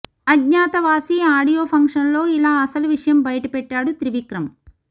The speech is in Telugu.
అజ్ఞాతవాసి ఆడియో ఫంక్షన్ లో ఇలా అసలు విషయం బయటపెట్టాడు త్రివిక్రమ్